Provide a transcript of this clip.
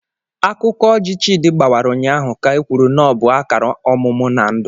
Akụkọ ọjị Chidi gbawara ụnyahụ ka ekwuru na ọ bụ akara ọmụmụ na ndụ.